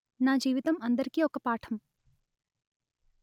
నా జీవితం అందరికీ ఒక పాఠం